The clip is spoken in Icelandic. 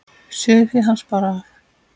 Sauðfé hans bar af.